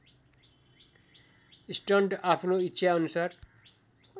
stunt आफ्नो इच्छाअनुसार